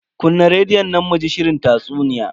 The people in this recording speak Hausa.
Kunna rediyon nan muji shirin tatsuniya.